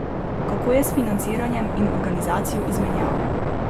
Kako je s financiranjem in organizacijo izmenjav?